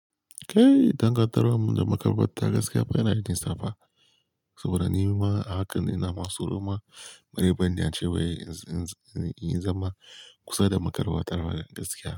Kai, dangantakar mu da makaɓarta gaskiya ba yana da nisa ba, saboda ni ma a haka ina masu noma. Mareban da ya ce wai in zama kusa da makaɓarta gaskiya.